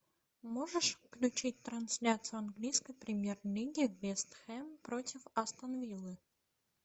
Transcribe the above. можешь включить трансляцию английской премьер лиги вест хэм против астон виллы